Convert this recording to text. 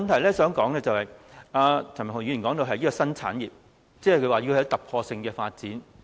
第二，譚文豪議員說這是一個新產業，要有突破性的發展。